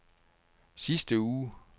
sidste uge